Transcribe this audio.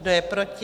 Kdo je proti?